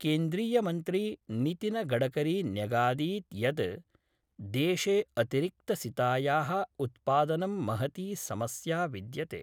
केन्द्रीयमन्त्री नितिनगडकरी न्यगादीत् यद् देशे अतिरिक्तसिताया: उत्पादनं महती समस्या विद्यते।